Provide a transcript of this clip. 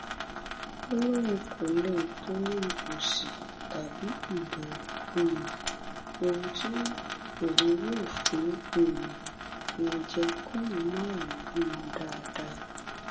ó lóun kò lè torí òṣì tàbí ìbẹrù um ohun tí òun yóò fún um wọn jẹ kóun má wàá bímọ dáadáa